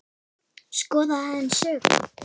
Skoðum aðeins söguna.